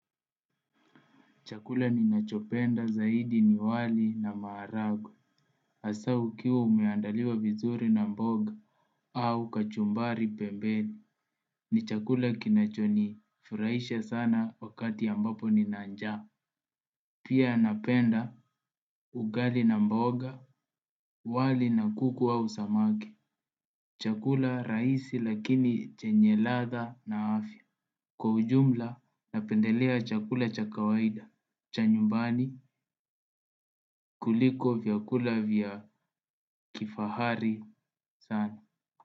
Chakula ninachopenda zaidi ni wali na maharagwe hasaa ukiwa umeandaliwa vizuri na mboga au kachumbari pembeni. Ni chakula kinacho nifurahisha sana wakati ambapo nina njaa. Pia napenda ugali na mboga wali na kuku au samaki. Chakula rahisi lakini chenye ladha na afya. Kwa ujumla napendelea chakula cha kawaida. Cha nyumbani kuliko vyakula vya kifahari sana.